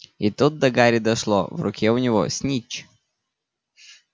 и тут до гарри дошло в руке у него снитч